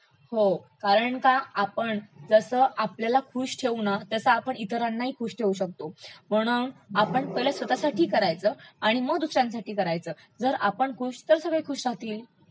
हो कारण का आपण जसं आपल्याला खूश ठेवू ना तसं आपण इतरांना ठेवू शकतो म्हणून आपण पहिलं स्वतःसाठी करायचं आणि मग दुसऱ्यांसाठी करायचं, जर आपण खूश तर सगळे खूश राहतिल